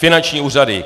Finanční úřady.